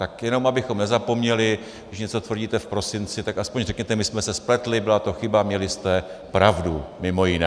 Tak jenom abychom nezapomněli, když něco tvrdíte v prosinci, tak aspoň řekněte: my jsme se spletli, byla to chyba, měli jste pravdu mimo jiné.